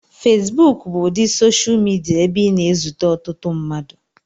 Fesbuku bụ ụdị soshal midia ebe ị na-ezute ọtụtụ mmadụ.